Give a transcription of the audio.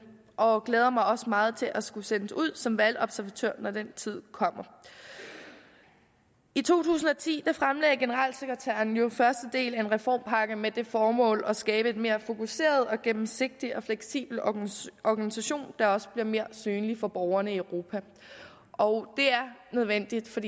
og glæder mig også meget til at skulle sendes ud som valgobservatør når den tid kommer i to tusind og ti fremlagde generalsekretæren jo første del af en reformpakke med det formål at skabe en mere fokuseret gennemsigtig og fleksibel organisation organisation der også bliver mere synlig for borgerne i europa og det er nødvendigt